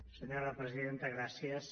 senyora presidenta gràcies